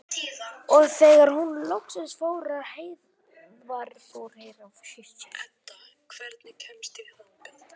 Og þegar hún loksins fór var Heiða komin inn með strákana.